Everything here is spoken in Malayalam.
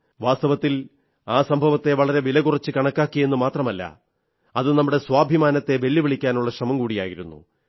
വാസ്തവത്തിൽ ആ സംഭവത്തെ വളരെ വില കുറച്ചു കണക്കാക്കിയെന്നു മാത്രമല്ല അത് നമ്മുടെ സ്വാഭിമാനത്തെ വെല്ലുവിളിക്കാനുള്ള ശ്രമം കൂടിയായിരുന്നു